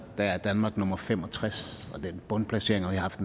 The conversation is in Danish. er danmark nummer fem og tres og den bundplacering har vi haft